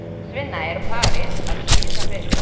Svenna er farið að líða betur.